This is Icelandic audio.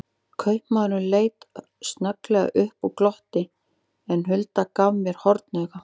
Kaupamaðurinn leit snögglega upp og glotti, en Hulda gaf mér hornauga.